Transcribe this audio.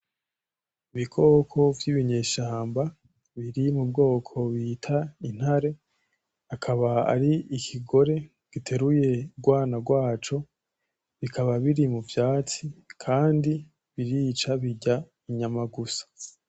Ibikoko vy'ibinyeshamba biri mu bwoko bita Intare, akaba ar'ikigore giteruye urwana rwaco, bikaba biri mu vyatsi ,Kandi birica birya inyama gusa.